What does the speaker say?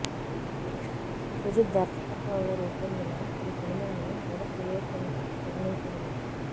సుజిత్ దర్శకత్వంలో రూపొందిన ఈ సినిమాని యువ క్రియేషన్స్ నిర్మించింది